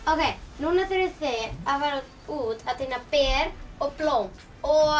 núna þurfið þið að fara út að tína ber og blóm og